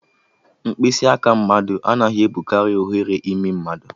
Mkpịsị aka mmadụ anaghị ebukari oghere imi mmadụ